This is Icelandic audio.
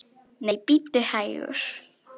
Nei, bíddu hægur!